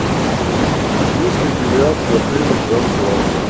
есть ли бильярд в отеле гранд плаза